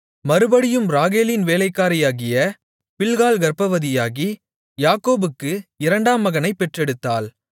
மறுபடியும் ராகேலின் வேலைக்காரியாகிய பில்காள் கர்ப்பவதியாகி யாக்கோபுக்கு இரண்டாம் மகனைப் பெற்றெடுத்தாள்